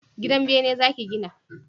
gidan bene za ki gina?